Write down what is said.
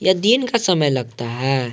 ये दिन का समय लगता है।